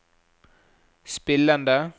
spillende